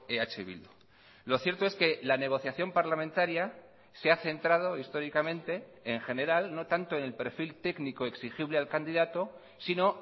eh bildu lo cierto es que la negociación parlamentaria se ha centrado históricamente en general no tanto en el perfil técnico exigible al candidato sino